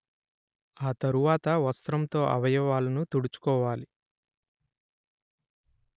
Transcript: ఆ తరువాత వస్త్రంతో అవయవాలను తుడుచుకోవాలి